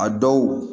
A dɔw